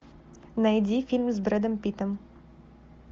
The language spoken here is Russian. найди фильм с брэдом питтом